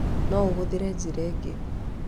No ũhũthĩre njĩra ĩngĩ.